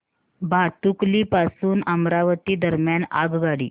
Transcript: भातुकली पासून अमरावती दरम्यान आगगाडी